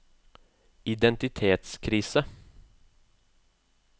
identitetskrise